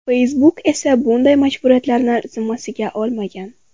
Facebook esa bunday majburiyatlarni zimmasiga olmagan.